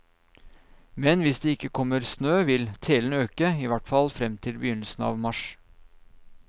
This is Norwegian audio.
Men hvis det ikke kommer snø, vil telen øke, i hvert fall frem til begynnelsen av mars.